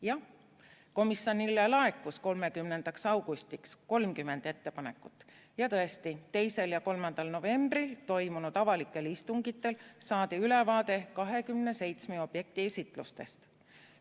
Jah, komisjonile laekus 30. augustiks 30 ettepanekut ja tõesti, 2. ja 3. novembril toimunud avalikel istungitel saadi ülevaade 27 objekti esitlustest.